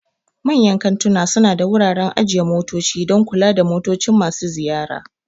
Manyan kantuna suna da wuraren ajiye motoci don kula da motocin masu ziyara.